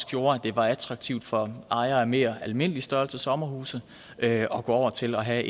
gjorde at det var attraktivt for ejere af en mere almindelig størrelse sommerhus at at gå over til at have